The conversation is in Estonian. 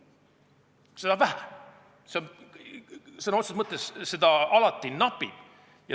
Ressurssi on vähe, seda sõna otseses mõttes alati napib.